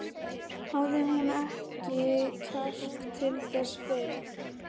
Hafði hún ekki kjark til þess fyrr?